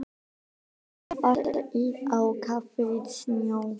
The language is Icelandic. Þá var allt á kafi í snjó.